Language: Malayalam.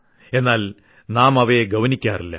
എന്നാൽ പിന്നീട് നാം അവയെ ഗൌനിക്കാറില്ല